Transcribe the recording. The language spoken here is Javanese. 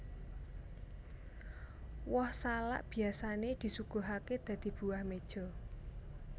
Woh salak biyasané disuguhaké dadi buah meja